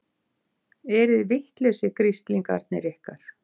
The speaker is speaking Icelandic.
Eruði vitlausir, grislingarnir ykkar?